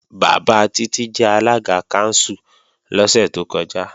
Bàbá Títí jẹ alága kánsù lọ́sẹ̀ tó kọjá